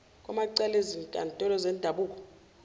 kwamacala ezinkantolo zendabuko